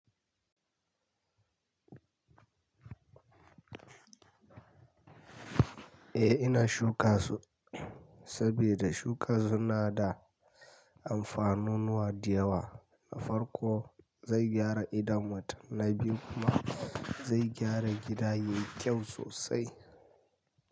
Eh ina shuka su saboda shuka suna da amfanunuwa da yawa. Na farko zai gyara idon mutane biyu kuma zai gyara gida yayi kyau sosai.